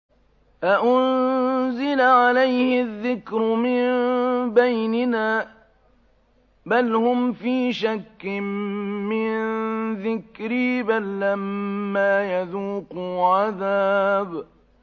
أَأُنزِلَ عَلَيْهِ الذِّكْرُ مِن بَيْنِنَا ۚ بَلْ هُمْ فِي شَكٍّ مِّن ذِكْرِي ۖ بَل لَّمَّا يَذُوقُوا عَذَابِ